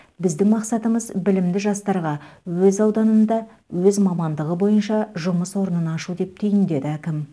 біздің мақсатымыз білімді жастарға өз ауданында өз мамандығы бойынша жұмыс орнын ашу деп түйіндеді әкім